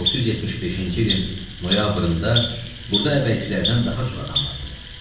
675-ci ilin noyabrında burda əvvəlkilərdən daha çox adam vardı.